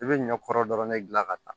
I bɛ ɲɔ kɔrɔ dɔrɔn de gilan ka taa